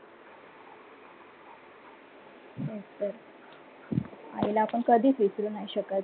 अह आईला आपन कधिच विसरु नाही शकत.